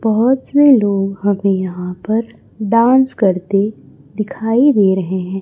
बहोत से लोग हमें यहां पर डांस करते दिखाई दे रहे हैं।